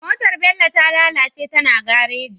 Motar bello ta lalace tana gareji